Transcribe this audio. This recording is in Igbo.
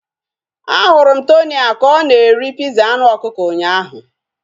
A hụrụ m Tonia ka ọ na-eri piza anụ ọkụkọ ụnyaahụ